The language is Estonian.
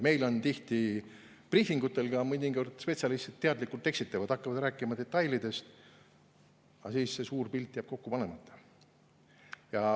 Meil tihti briifingutel spetsialistid teadlikult eksitavad, hakkavad rääkima detailidest, aga siis see suur pilt jääb kokku panemata.